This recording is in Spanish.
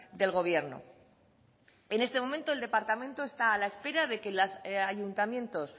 del gobierno en este momento el departamento está a la espera de que los ayuntamientos